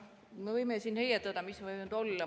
Me võime siin heietada, mis need võivad olla.